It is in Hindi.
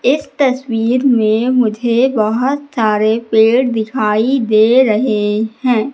इस तस्वीर में मुझे बहोत सारे पेड़ दिखाई दे रहे हैं।